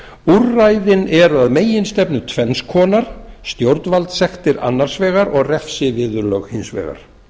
úrræðin eru að meginstefnu tvenns konar stjórnvaldssektir annars vegar og refsiviðurlög hins vegar